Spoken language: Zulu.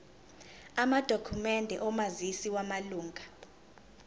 amadokhumende omazisi wamalunga